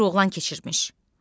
Bir oğlan keçirmiş.